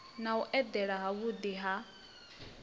na u elela havhuḓi ha